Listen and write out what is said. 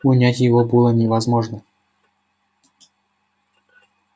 унять его было невозможно